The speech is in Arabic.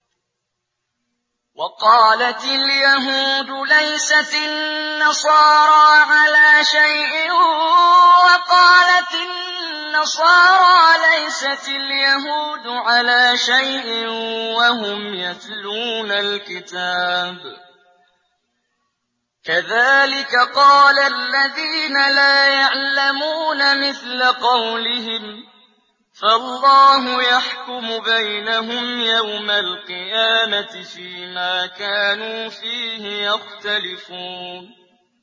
وَقَالَتِ الْيَهُودُ لَيْسَتِ النَّصَارَىٰ عَلَىٰ شَيْءٍ وَقَالَتِ النَّصَارَىٰ لَيْسَتِ الْيَهُودُ عَلَىٰ شَيْءٍ وَهُمْ يَتْلُونَ الْكِتَابَ ۗ كَذَٰلِكَ قَالَ الَّذِينَ لَا يَعْلَمُونَ مِثْلَ قَوْلِهِمْ ۚ فَاللَّهُ يَحْكُمُ بَيْنَهُمْ يَوْمَ الْقِيَامَةِ فِيمَا كَانُوا فِيهِ يَخْتَلِفُونَ